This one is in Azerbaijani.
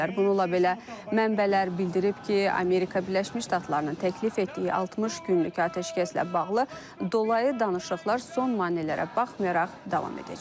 Bununla belə mənbələr bildirib ki, Amerika Birləşmiş Ştatlarının təklif etdiyi 60 günlük atəşkəslə bağlı dolayı danışıqlar son maneələrə baxmayaraq davam edəcək.